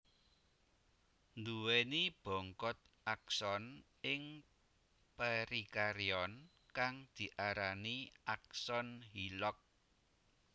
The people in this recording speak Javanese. Nduwèni bongkot akson ing perikarion kang diarani akson Hillock